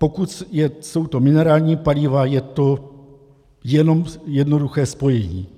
Pokud jsou to minerální paliva, je to jenom jednoduché spojení.